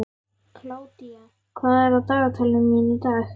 Kládía, hvað er á dagatalinu mínu í dag?